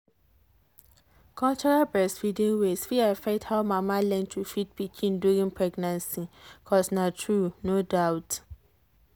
cultural breastfeeding ways fit affect how mama learn to feed pikin during pregnancy cos na true no doubt.